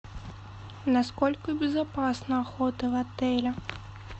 насколько безопасна охота в отеле